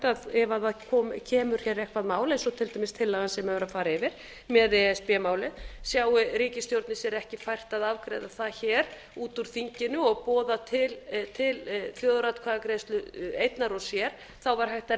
að ef kemur hér eitthvert mál eins og til dæmis tillagan sem er verið að fara yfir með e s b málið sjái ríkisstjórnin sér ekki fært að afgreiða það hér út úr þinginu og boða til þjóðaratkvæðagreiðslu einnar og sér væri